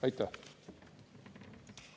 Aitäh!